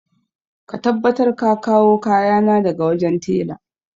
Ka tabbatar ka kawo kayana daga wajen tela!